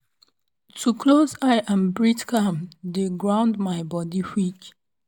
to close eye and breathe calm dey ground my body quick.